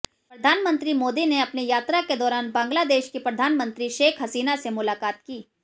प्रधानमंत्री मोदी ने अपनी यात्रा के दौरान बांग्लादेश की प्रधानमंत्री शेख हसीना से मुलाकात की